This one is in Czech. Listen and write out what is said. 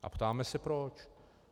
A ptáme se proč.